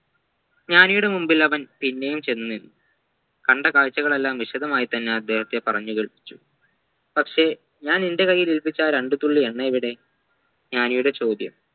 ജ്ഞാനിയുടെ മുൻപിൽ അവൻ പിന്നെയും ചെന്നു നിന്നു കണ്ട കാഴ്ചകളെല്ലാം വിശദമായി തന്നെ അദ്ദേഹത്തെ പറഞ്ഞു കേൾപ്പിച്ചു പക്ഷെ ഞാൻ നിൻെറ കൈയിലേൽപ്പിച്ച ആ രണ്ടുതുള്ളി എണ്ണ എവിടെ ജ്ഞാനിയുടെ ചോദ്യം